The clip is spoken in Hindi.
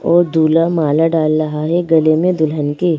और दूल्हा माला डाल रहा है गले में दुल्हन के।